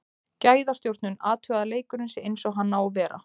Gæðastjórnun, athugað að leikurinn sé eins og hann á að vera.